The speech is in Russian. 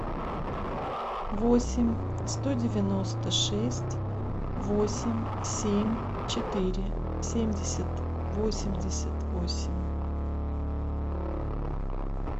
восемь сто девяносто шесть восемь семь четыре семьдесят восемьдесят восемь